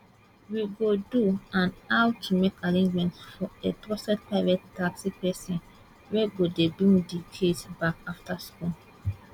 we go do and how to make arrangements for a trusted private taxi pesin wey go dey bring di kids back afta school